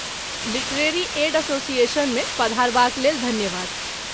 Literary aid एसोसिएशनमे पधारबाक लेल धन्यवाद।